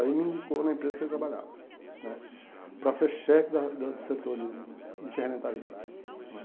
Aí me indicou na empresa que ele trabalhava né, para ser chefe da do do setor de de ferramentaria lá né.